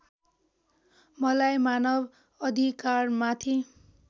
मलाई मानव अधिकारमाथि